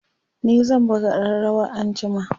ni zan buga ƙararawa anjima